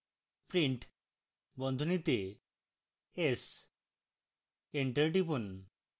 print বন্ধনীতে s enter টিপুন